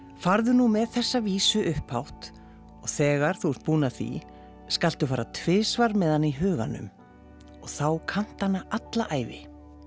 farðu nú með þessa vísu upphátt og þegar þú ert búin að því skaltu fara tvisvar með hana í huganum og þá kanntu hana alla ævi